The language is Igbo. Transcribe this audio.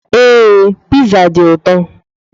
Ee, Pizza dị ụtọ.